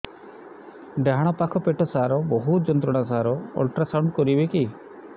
ଡାହାଣ ପାଖ ପେଟ ସାର ବହୁତ ଯନ୍ତ୍ରଣା ସାର ଅଲଟ୍ରାସାଉଣ୍ଡ କରିବି କି